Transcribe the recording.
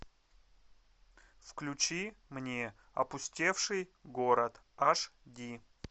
включи мне опустевший город аш ди